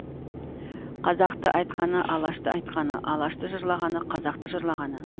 қазақты айтқаны алашты айтқаны алашты жырлағаны қазақты жырлағаны